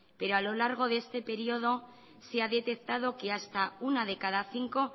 pero a lo largo de este período se ha detectado que hasta una de cada cinco